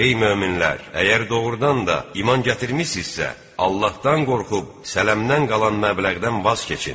Ey möminlər, əgər doğrudan da iman gətirmisinizsə, Allahdan qorxub sələmdən qalan məbləğdən vaz keçin.